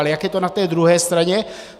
Ale jak je to na té druhé straně?